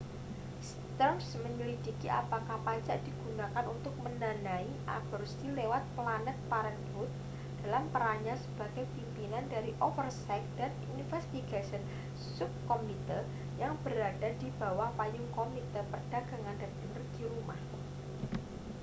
stearns menyelidiki apakah pajak digunakan untuk mendanai aborsi lewat planned parenthood dalam perannya sebagai pimpinan dari oversight and investigations subcommittee yang berada di bawah payung komite perdagangan dan energi rumah